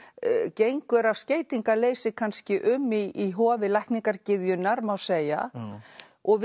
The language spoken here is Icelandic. gengur af skeytingarleysi kannski um í hofi má segja og